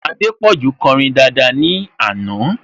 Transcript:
Adépọ̀jù kọrin daada ní àná